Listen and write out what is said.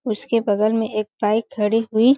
उसके बगल में एक बाइक खड़ी हुई--